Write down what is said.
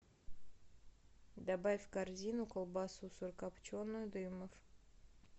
добавь в корзину колбасу сырокопченую дымов